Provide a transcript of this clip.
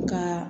Ka